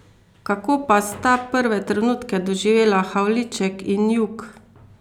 Kako pa sta prve trenutke doživela Havliček in Jug?